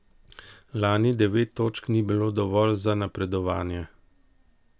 Lani devet točk ni bilo dovolj za napredovanje.